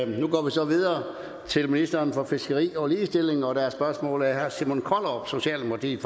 nu går vi så videre til ministeren for fiskeri og ligestilling og der er spørgsmål af herre simon kollerup socialdemokratiet